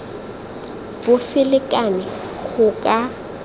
bo se lekane go ka